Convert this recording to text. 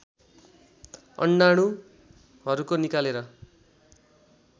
अण्डाणुहरूको निकालेर